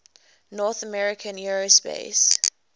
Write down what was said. north american aerospace